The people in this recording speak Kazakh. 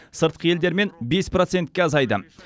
сыртқы елдермен бес процентке азайды